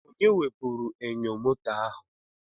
Onye wepụrụ enyo moto ahụ?